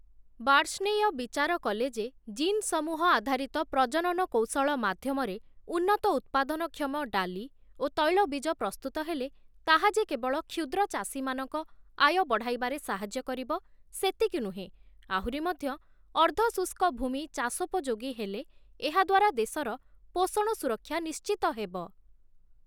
ବାର୍ଷ୍ଣେୟ ବିଚାର କଲେ ଯେ, ଜିନ୍-ସମୂହ ଆଧାରିତ ପ୍ରଜନନ କୌଶଳ ମାଧ୍ୟମରେ ଉନ୍ନତ ଉତ୍ପାଦନକ୍ଷମ ଡାଲି ଓ ତୈଳ-ବୀଜ ପ୍ରସ୍ତୁତ ହେଲେ, ତାହା ଯେ କେବଳ କ୍ଷୁଦ୍ର ଚାଷୀମାନଙ୍କ ଆୟ ବଢ଼ାଇବାରେ ସାହାଯ୍ୟ କରିବ ସେତିକି ନୁହେଁ, ଆହୁରି ମଧ୍ୟ, ଅର୍ଦ୍ଧ-ଶୁଷ୍କ ଭୂମି ଚାଷୋପଯୋଗୀ ହେଲେ ଏହାଦ୍ୱାରା ଦେଶର ପୋଷଣ ସୁରକ୍ଷା ନିଶ୍ଚିତ ହେବ ।